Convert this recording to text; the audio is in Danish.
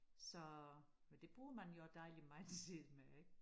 Så men det bruger man jo også dejligt meget tid med ik